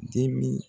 Dimin